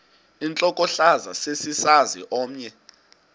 intlokohlaza sesisaz omny